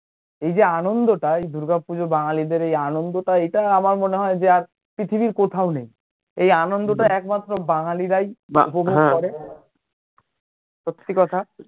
এই যে আনন্দটা এই দূর্গা পূজো বাঙালীদের এই আনন্দটা ইটা আমার মনে যে পৃথিবীর কোথাও নেই এই আনন্দটা একমাত্র বাঙালীরাই উপভোগ করে সত্যি কথা